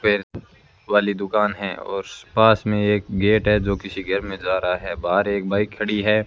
फेर वाली दुकान हैं और पास में एक गेट है जो किसी घर में जा रहा हैं बाहर एक बाइक खड़ी हैं।